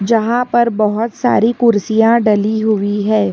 जहां पर बहुत सारी कुर्सियां डली हुई है।